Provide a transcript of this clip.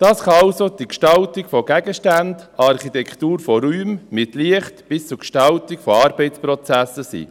Dies kann also die Gestaltung von Gegenständen, Architektur von Räumen mit Licht bis hin zur Gestaltung von Arbeitsprozessen sein.